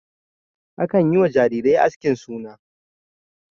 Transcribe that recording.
Akan yi wa jarirai askin suna.